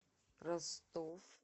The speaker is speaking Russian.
ростов